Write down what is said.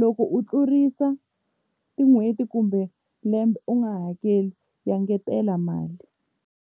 loko u tlurisa tin'hweti kumbe lembe u nga hakeli va engetela mali.